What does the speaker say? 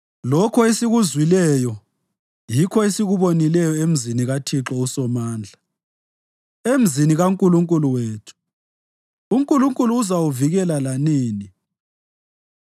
Lokho esikuzwileyo yikho esikubonileyo emzini kaThixo uSomandla, emzini kaNkulunkulu wethu: uNkulunkulu uzawuvikela lanini.